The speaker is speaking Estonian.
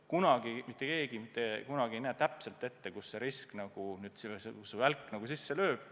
Kunagi mitte keegi ei näe täpselt ette, kus välk sisse lööb.